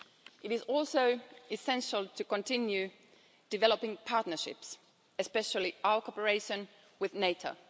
It is also essential to continue developing partnerships, especially our cooperation with NATO.